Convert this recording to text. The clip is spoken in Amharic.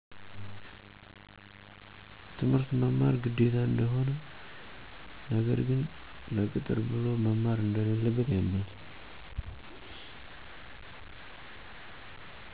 ትምህርት መማር ግዴታ እንደሆነ ነገር ግን ለቅጥር ብሎ መማር እንደለለበት ያምናል።